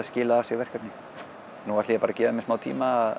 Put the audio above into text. skilað af sér verkefni nú ætla ég bara að gefa mér smá tíma